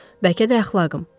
Bəlkə də əxlaqım.